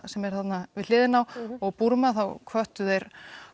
sem er þarna við hliðina á og Búrma þá hvöttu þeir